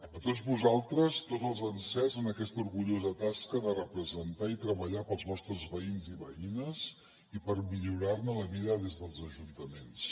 a tots vosaltres tots els encerts en aquesta orgullosa tasca de representar i treballar pels vostres veïns i veïnes i per millorar ne la vida des dels ajuntaments